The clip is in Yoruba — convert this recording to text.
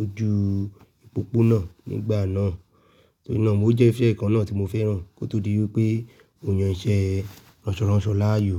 ojú ìpópónà nígbà náà. Torí náà, ó jẹ́ iṣẹ́ kan náà tí mo fẹ́ran kó tó di wí pé òòyàn iṣẹ́ ránṣọránṣọ láàyò.